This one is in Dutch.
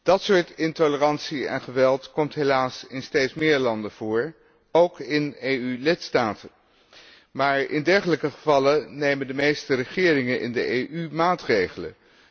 Dat soort intolerantie en geweld komt helaas in steeds meer landen voor, ook in EU lidstaten. Maar in dergelijke gevallen nemen de meeste regeringen in de EU maatregelen.